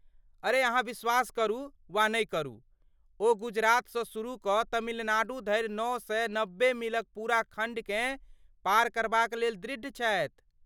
अरे अहाँ विश्वास करू वा नहि करू, ओ गुजरातसँ शुरू कऽ तमिलनाडू धरि नओ सए नबे मीलक पूरा खण्डकेँ पार करबाक लेल दृढ़ छथि।